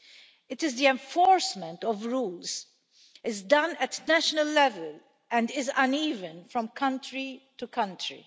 it is that the enforcement of rules is done at national level and is uneven from country to country.